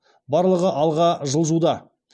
барлығы алға жылжуда